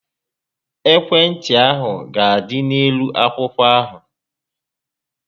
Ekwe ntị ahụ ga-adị n'elu akwụkwọ ahụ